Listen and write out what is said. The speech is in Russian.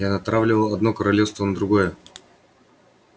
я натравливал одно королевство на другое